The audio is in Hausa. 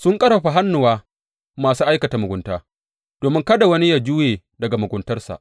Sun ƙarfafa hannuwa masu aikata mugunta, domin kada wani ya juya daga muguntarsa.